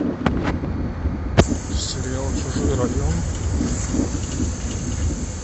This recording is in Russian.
сериал чужой район